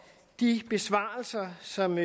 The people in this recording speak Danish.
de besvarelser som